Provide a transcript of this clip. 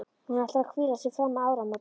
Hún ætlar að hvíla sig fram að áramótum.